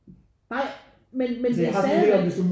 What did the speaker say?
Nej men men stadigvæk